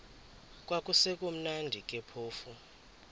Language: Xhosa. kwakusekumnandi ke phofu